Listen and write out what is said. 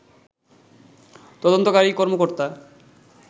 তদন্তকারী কর্মকর্তা